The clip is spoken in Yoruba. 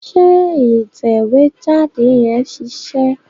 Ṣé ìtẹ̀wé jáde yẹn ṣiṣẹ́?